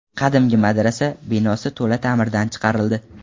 Qadimgi madrasa binosi to‘la ta’mirdan chiqarildi.